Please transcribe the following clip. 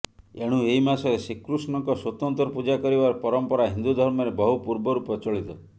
ଏଣୁ ଏହି ମାସରେ ଶ୍ରୀକୃଷ୍ଣଙ୍କ ସ୍ୱତନ୍ତ୍ର ପୂଜା କରିବାର ପରମ୍ପରା ହିନ୍ଦୁ ଧର୍ମରେ ବହୁ ପୂର୍ବରୁ ପ୍ରଚଳିତ